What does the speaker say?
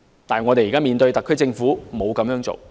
但是，現時特區政府沒有這樣做。